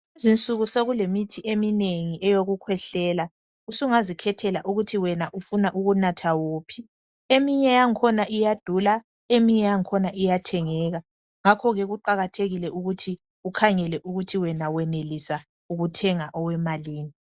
Kulezi insuku sekulemithi eminingi eyokukhwehlela, usungazikhethela ukuthi wena ufuna ukunatha wuphi. Eminye yakhona iyadula eminye iyathengeka. Ngakho ke kuqakathekile ukuthi ukhangele ukuthi wena wenelisa ukuthenga owemalini.